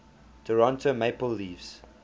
toronto maple leafs